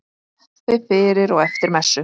Kaffi fyrir og eftir messu.